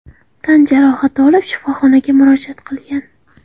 tan jarohati olib, shifoxonaga murojaat qilgan.